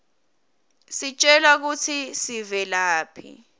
sitjelwa kutsi tivelaphi